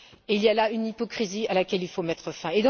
Il y a là une hypocrisie à laquelle il faut mettre fin.